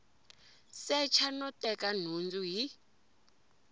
secha no teka nhundzu hi